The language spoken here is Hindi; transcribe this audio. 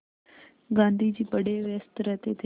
गाँधी जी बड़े व्यस्त रहते थे